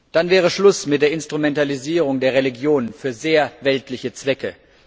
Dann wäre Schluss mit der Instrumentalisierung der Religion für sehr weltliche Zwecke.